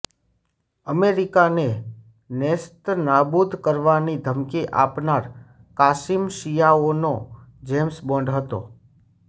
અમેરિકાને નેસ્તનાબૂદ કરવાની ધમકી આપનાર કાસિમ શિયાઓનો જેમ્સ બોન્ડ હતો